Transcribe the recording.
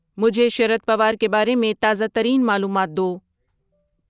مجھےشرد پوار کے بارے میں تازہ ترین معلومات دو